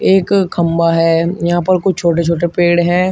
एक खंभा है यहां पर कुछ छोटे छोटे पेड़ हैं।